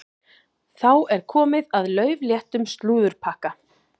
Þá er komið að laufléttum slúðurpakka.